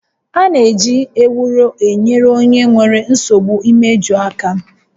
A na-eji Ewuro enyere onye nwere nsogbu imeju aka